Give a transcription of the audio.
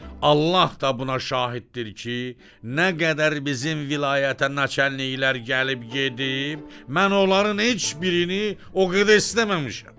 Allah da buna şahiddir ki, nə qədər bizim vilayətə naçəlniklər gəlib gedib, mən onların heç birini o qədər istəməmişəm.